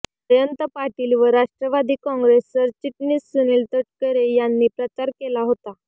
जयंत पाटील व राष्ट्रवादी काँग्रेस सरचिटणीस सुनील तटकरे यांनी प्रचार केला होता